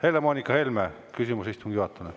Helle-Moonika Helme, küsimus istungi juhatajale.